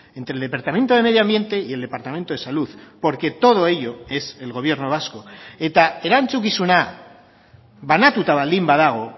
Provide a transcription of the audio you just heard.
entre el departamento de medio ambiente y el departamento de salud porque todo ello es el gobierno vasco eta erantzukizuna banatuta baldin badago